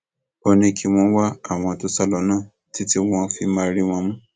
ó ní kí wọn wá àwọn tó sá lọ náà títí wọn fi máa rí wọn mú